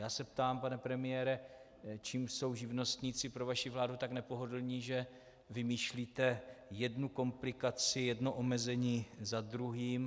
Já se ptám, pane premiére, čím jsou živnostníci pro vaši vládu tak nepohodlní, že vymýšlíte jednu komplikaci, jedno omezení za druhým.